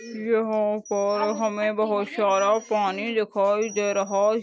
यहाँ पर हमे बहूत सारा पानी दिखाई दे रहा --